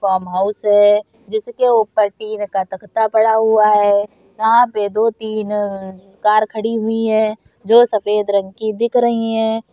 Farmhouse है जिसके ऊपर टीन का तख्ता पड़ा हुआ है यहाँ पर दो-तीन अ कार खड़ी हुई है जो सफेद रंग की दिख रहे हैं।